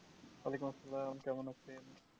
ওয়া'আলাইকুমুস-সালাম কেমন আছেন?